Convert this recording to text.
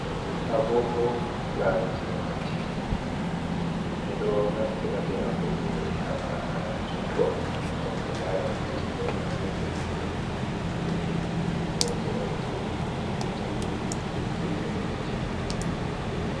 Agogo laruki wakkati ɓeɗo naftira be agogo ɓe habba ha jungo ngam be lara wakkati nden agogo do bo bata no holli worɓe on tan naftirta be iri agogo ji ɗo.